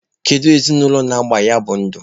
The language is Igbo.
Kedu ezinụlọ na-agba ya bụ ndụ?